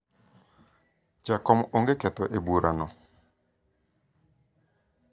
jakom onge ketho e bura no